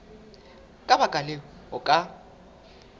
ka baka leo o ka